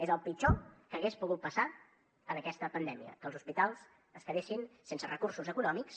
és el pitjor que hagués pogut passar en aquesta pandèmia que els hospitals es quedessin sense recursos econòmics